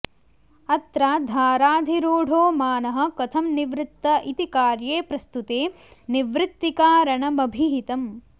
अत्र धाराधिरूढो मानः कथं निवृत्त इति कार्ये प्रस्तुते निवृत्तिकारणमभिहितम्